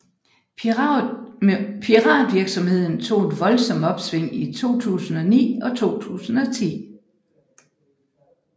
Piratvirksomheden tog et voldsomt opsving i 2009 og 2010